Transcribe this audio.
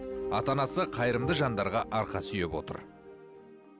ата анасы қайырымды жандарға арқа сүйеп отыр